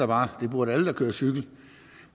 bare det burde alle der kører cykel